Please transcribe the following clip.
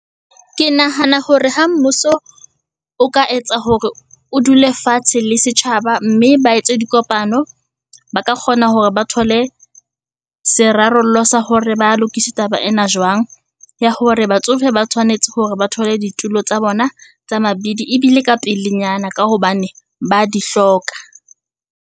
Ke nahana hore ha mmuso o ka etsa hore o dule fatshe le setjhaba mme ba etse dikopano, ba ka kgona hore ba thole serarollo sa hore ba lokise taba ena jwang, ya hore batsofe ba tshwanetse hore ba thole ditulo tsa bona tsa mabidi ebile ka pelenyana. Ka hobane ba di hloka.